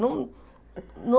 Não não